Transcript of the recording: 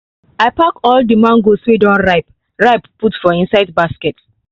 i pack all the mangoes wey don ripe ripe put for inside basket